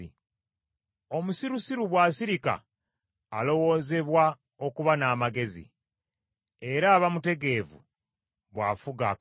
Omusirusiru bw’asirika alowoozebwa okuba n’amugezi, era aba mutegeevu bw’afuga akamwa ke.